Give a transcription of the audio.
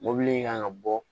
Mɔbili in kan ka bɔ